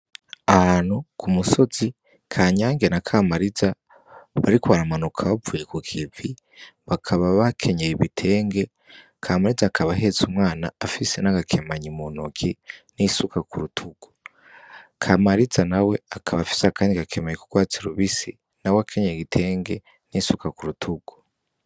Ahantu ku musozi Kanyange na Kamariza bariko baramanuka bavuye ku kivi bakaba bakenyeye ibitenge, Kamariza akaba ahetse umwana afise n'agakemanyi mu ntoke n'isuka ku rutugu. Kamariza na we akaba afise akandi gakemanyi k'urwatsi rubisi na we akenyeye igitenge n'isuka ku rutugu.